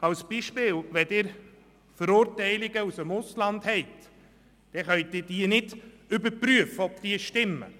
Ein Beispiel: Wenn Verurteilungen im Ausland vorliegen, können Sie nicht überprüfen, ob diese stimmen.